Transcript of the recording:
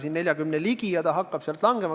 Ta on praegu 40% lähedal ja hakkab sealt langema.